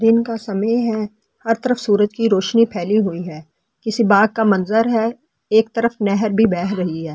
का समय है हर तरफ सूरज की रोशनी फैली हुई है किसी बाग का मंजर है एक तरफ नहर भी बह रही है।